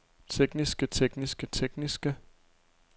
tekniske tekniske tekniske